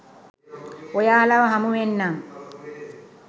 ඔයාලව හමුවෙන්නම්